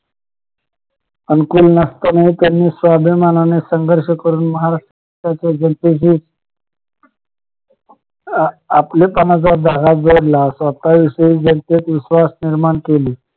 आणि कोण नसताना त्यांनी स्वाभिमानाने संघर्ष करून महाराष्ट्राच्या जनतेशी आपल्या पणाचा धागा जोडलां स्वतःविषयी जनतेत विश्वास निर्माण केला